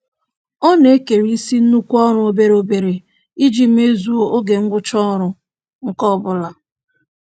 Ọ na-ekerisị nnukwu ọrụ obere obere iji mezuo oge ngwụcha ọrụ nke ọbụla.